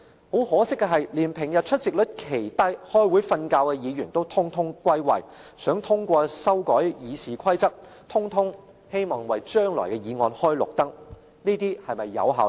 很可惜的是，連平日出席率奇低、開會睡覺的議員也全部歸位，想通過修改《議事規則》的議案，全部人也希望為將來的議案開綠燈。